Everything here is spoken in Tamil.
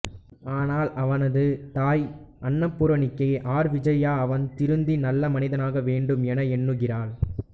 ஆனால் அவனது தாய் அன்னபூரணிகே ஆர் விஜயா அவன் திருந்தி நல்ல மனிதனாக வேண்டும் என எண்ணுகிறாள்